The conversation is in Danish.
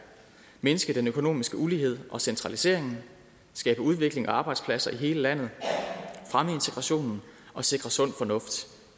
mindske den økonomiske ulighed og centraliseringen skabe udvikling og arbejdspladser i hele landet fremme integrationen og sikre sund fornuft